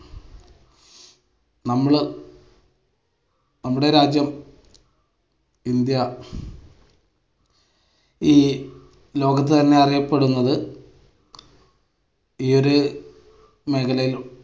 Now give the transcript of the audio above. നമ്മള് നമ്മുടെ രാജ്യം ഇന്ത്യ ഈ ലോകത്ത് തന്നെ അറിയപ്പെടുന്നത് ഈയൊരു മേഖലയിൽ